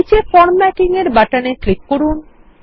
নীচে ফরম্যাটিং এরবাটন এক্লিক করুন